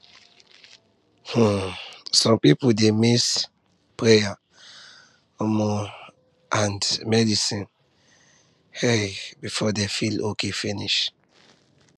um some people dey mix prayer um and medicine um before dem feel okay finish